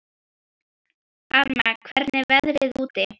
Alma, hvernig er veðrið úti?